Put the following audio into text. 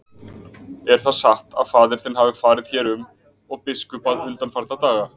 Er það satt að faðir þinn hafi farið hér um og biskupað undanfarna daga?